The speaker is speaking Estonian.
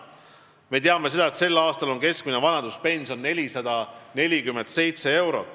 Me teame seda, et sel aastal on keskmine vanaduspension 447 eurot.